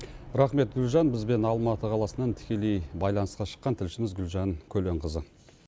рахмет гүлжан бізбен алматы қаласынан тікелей байланысқа шыққан тілшіміз гүлжан көленқызы